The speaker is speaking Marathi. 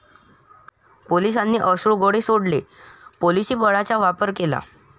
पोलिसांनी अश्रुगोळे सोडले, पोलिसी बळाचा वापर केला.